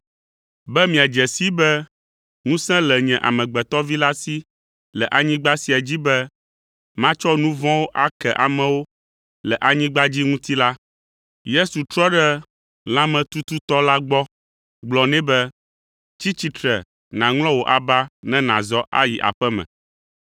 Be miadze sii be ŋusẽ le nye Amegbetɔ Vi la si le anyigba sia dzi be matsɔ nu vɔ̃wo ake amewo le anyigba dzi ŋuti la, Yesu trɔ ɖe lãmetututɔ la gbɔ gblɔ nɛ be, “Tsi tsitre nàŋlɔ wò aba ne nàzɔ ayi aƒe me!”